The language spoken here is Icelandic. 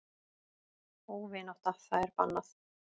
Óvinátta það er bannað.